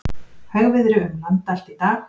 Hægviðri um land allt í dag